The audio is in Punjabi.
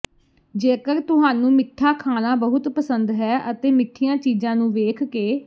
ਜੇਕਰ ਤੁਹਾਨੂੰ ਮਿੱਠਾ ਖਾਣਾ ਬਹੁਤ ਪਸੰਦ ਹੈ ਅਤੇ ਮਿੱਠੀਆਂ ਚੀਜ਼ਾਂ ਨੂੰ ਵੇਖ ਕੇ